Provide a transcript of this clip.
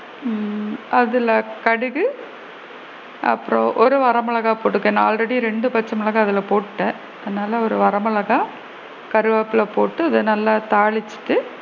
ஹம் அதுல கடுகு அப்பறம் ஒரு வர மிளகாய் போட்டுக்க ஏன்னா already ரெண்டு பச்ச மிளகாய் அதுல போட்டுட்ட அதனால ஒரு வர மிளகாய் கருவேப்பிலை போட்டு கொஞ்சம் நல்லா அத தாளிச்சிட்டு,